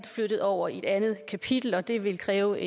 flyttet over i et andet kapitel og det vil kræve